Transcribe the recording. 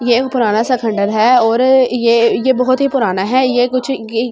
ये पुराना सा खंडन है और ये ये बहुत ही पुराना है ये कुछ की कुछ जगह से --